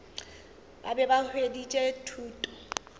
ba be ba hweditše thuto